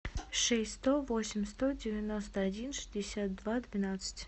шесть сто восемь сто девяносто один шестьдесят два двенадцать